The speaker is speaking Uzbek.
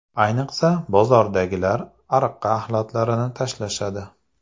Ayniqsa, bozordagilar ariqqa axlatlarini tashlashadi.